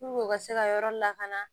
u ka se ka yɔrɔ lakana